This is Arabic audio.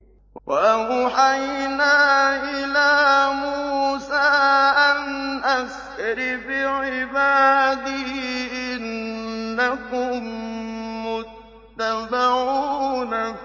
۞ وَأَوْحَيْنَا إِلَىٰ مُوسَىٰ أَنْ أَسْرِ بِعِبَادِي إِنَّكُم مُّتَّبَعُونَ